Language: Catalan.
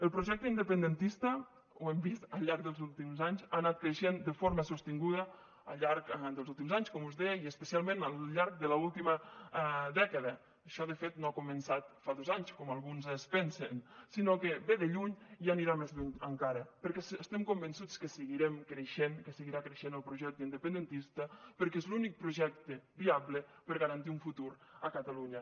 el projecte independentista ho hem vist al llarg dels últims anys ha anat creixent de forma sostinguda al llarg dels últims anys com us deia i especialment al llarg de l’última dècada això de fet no ha començat fa dos anys com alguns es pensen sinó que ve de lluny i anirà més lluny encara perquè estem convençuts que seguirem creixent que seguirà creixent el projecte independentista perquè és l’únic projecte viable per a garantir un futur a catalunya